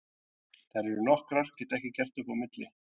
Þær eru nokkrar, get ekki gert upp á milli.